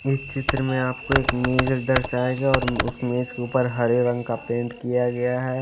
इस चित्र में आपको एक मेज दर्शाएंगे और उस मेज के ऊपर हरे रंग का पेंट किया गया है ।